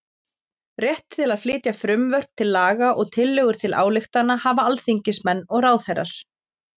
Rétt til að flytja frumvörp til laga og tillögur til ályktana hafa alþingismenn og ráðherrar.